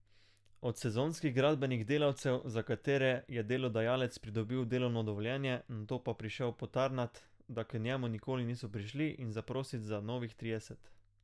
Od sezonskih gradbenih delavcev, za katere je delodajalec pridobil delovno dovoljenje, nato pa prišel potarnat, da k njemu nikoli niso prišli, in zaprosit za novih trideset.